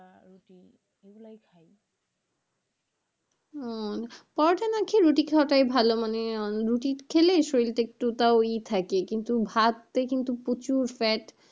ওগুলাই খাই আহ পরোটা না খেয়ে রুটি খাওয়াটাই ভালো, মানে রুটি খেলে শরীরটা একটু তও ই থাকে কিন্তু ভাত টাই কিন্তু প্রচুর fat,